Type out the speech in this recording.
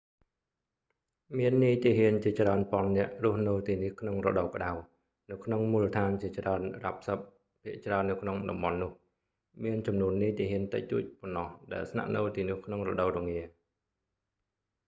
មាននាយទាហានជាច្រើនពាន់នាក់រស់នៅទីនេះក្នុងរដូវក្ដៅ នៅក្នុងមូលដ្ឋានជាច្រើនរ៉ាបសិប ភាគច្រើននៅក្នុងតំបន់នោះ មានចំនួននាយទាហានតិចតួចប៉ុណ្ណោះដែលស្នាក់នៅទីនោះក្នុងរដូវរងា